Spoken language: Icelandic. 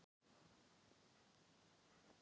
Oddsteinn, hvernig er veðrið á morgun?